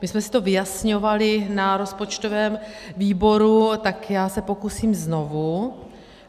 My jsme si to vyjasňovali na rozpočtovém výboru, tak já se pokusím znovu.